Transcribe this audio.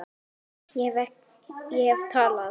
Ég hef talað.